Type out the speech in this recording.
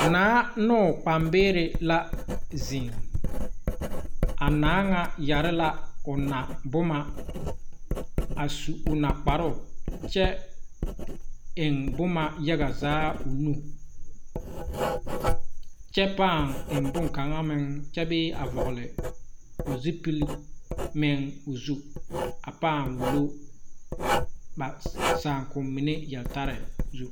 Naa ne o kpaŋbeere la zeŋ a naa ŋa yɛre la o naboma a su o nakparoo kyɛ eŋ boma yaga zaa o nu kyɛ paa eŋ bonkaŋa meŋ kyɛbee a vɔgle o zupil meŋ o zu a paa wullo ba saakommine yeltare